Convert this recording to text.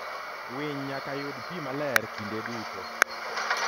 Winy nyaka yud pi maler kinde duto.